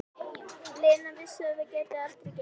Lena vissi að það gæti aldrei gengið.